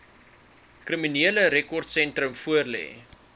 kriminele rekordsentrum voorlê